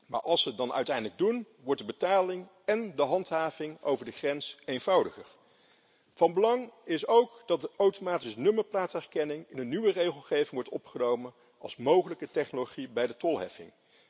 Maar als ze het dan uiteindelijk doen, wordt de betaling en de handhaving over de grens eenvoudiger. Van belang is ook dat de automatische nummerplaatherkenning in de nieuwe regelgeving wordt opgenomen als mogelijke technologie bij de tolheffing.